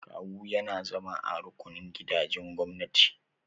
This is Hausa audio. Kawu na yana zama a rukunin gidajen gwamnati.